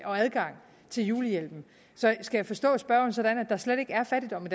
adgang til julehjælp så skal jeg forstå spørgeren sådan at der slet ikke er fattigdom